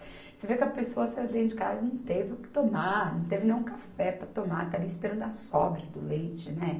Você vê que a pessoa saiu de dentro de casa e não teve o que tomar, não teve nem um café para tomar, está ali esperando a sobra do leite, né?